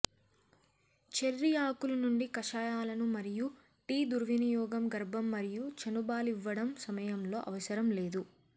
cherry ఆకులు నుండి కషాయాలను మరియు టీ దుర్వినియోగం గర్భం మరియు చనుబాలివ్వడం సమయంలో అవసరం లేదు